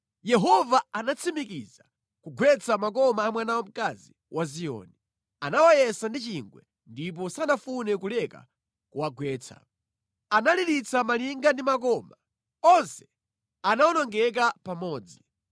Yehova anatsimikiza kugwetsa makoma a mwana wamkazi wa Ziyoni. Anawayesa ndi chingwe ndipo sanafune kuleka kuwagwetsa. Analiritsa malinga ndi makoma; onse anawonongeka pamodzi.